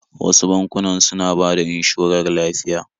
Wasu bankunan suna bada inshorar lafiya